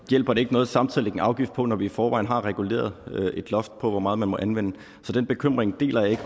hjælper det ikke noget samtidig at lægge en afgift på når vi i forvejen har reguleret et loft for hvor meget man må anvende så den bekymring deler jeg ikke